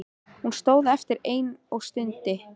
Hún stóð eftir ein og stundi.